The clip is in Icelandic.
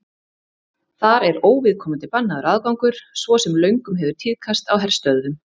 Þar er óviðkomandi bannaður aðgangur svo sem löngum hefur tíðkast í herstöðvum.